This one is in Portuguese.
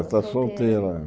Está solteira.